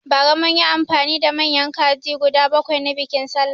Bara munyi amfani da manyan kaji guda bakwai na biƙin sallah